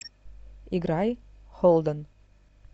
играй холдэн